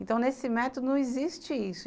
Então, nesse método não existe isso.